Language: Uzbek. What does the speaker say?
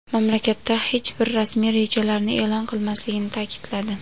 mamlakatdagi hech bir rasmiy rejalarni e’lon qilmasligini ta’kidladi.